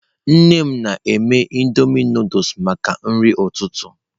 Nne m na-eme Indomie Nụdụls maka nri ụtụtụ.